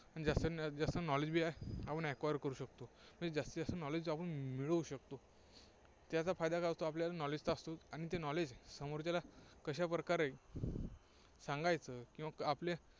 जास्तीजास्त knowledge आपण acquire करू शकतो. म्हणजे जास्तीजास्त knowledge आपण मिळवू शकतो. त्याचा फायदा काय होतो, आपल्याला knowledge तर असतोच. आणि ते knowledge समोरच्याला कशा प्रकारे सांगायचं, किंवा ्आपले